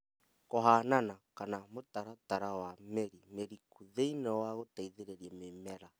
Kũhanana kana mũtaratara wa mĩri mĩriku thĩinĩ wa gũteithĩrĩria mĩmera